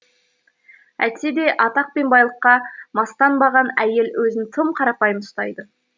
әйтсе де атақ пен байлыққа мастанбаған әйел өзін тым қарапайым ұстайды